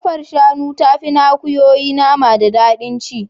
Kafar shanu tafi ta akuyoyi nama da daɗin ci.